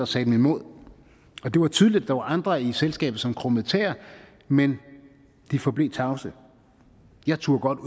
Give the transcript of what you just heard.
sagde dem imod og det var tydeligt at der var andre i selskabet som krummede tæer men de forblev tavse jeg turde godt